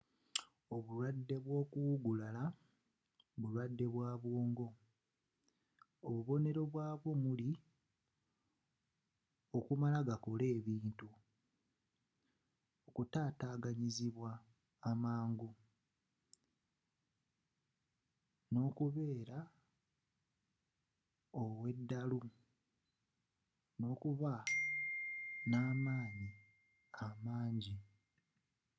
obulwadde bw'okuwugulala bulwadde bwa mu bwongo. obubonero bwabwo omuli okumala gakola ebintu okutaataganyizibwa amangu n'okubeera ow'eddalu n'okuba n'manyi amangi